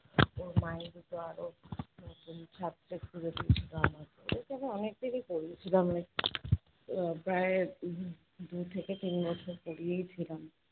ওর মাই দুটো আরো নতুন ছাত্র খুঁজে দিয়েছিলো আমাকে। ওদেরকে আমি অনেকদিনই পড়িয়েছিলাম আমি আহ প্রায় উহ দু থেকে তিন বছর পড়িয়েই ছিলাম।